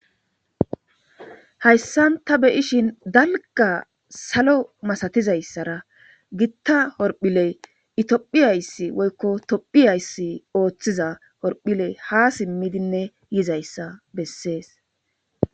hayssan ta beyishin dalga salo masatizayssara gitta horphiley itophiyayssi woykko tophiyayssi ooththiza horphiley ha simmidinne yizayssa bessees